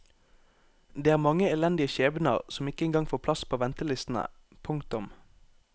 Det er mange elendige skjebner som ikke engang får plass på ventelistene. punktum